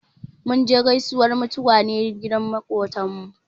Mun je gaisuwar mutuwa ne gidan maƙocinmu.